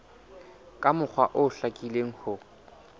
ka mokgwa o hlakileng ho